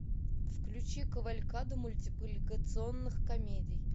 включи кавалькаду мультипликационных комедий